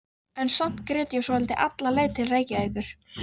En samt grét ég svolítið alla leið til Reykjavíkur.